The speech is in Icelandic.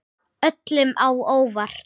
Öllum á óvart.